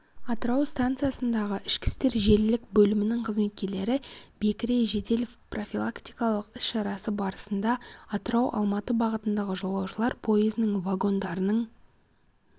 атырау станциясындағы ішкі істер желілік бөлімінің қызметкерлері бекіре жедел-профилактикалық іс-шарасы барысында атырау-алматы бағытындағы жолаушылар пойызының вагондарының